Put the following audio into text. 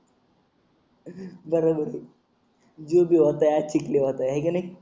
बर बर जो भी होता है अच्छे के लिए होता है है का नाही